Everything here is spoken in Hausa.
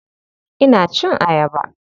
Ina cin ayaba.